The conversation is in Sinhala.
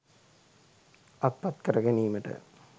අත්පත් කර ගැනීමට